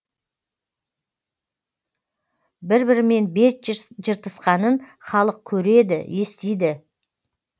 бір бірімен бет жыртысқанын халық көреді естиді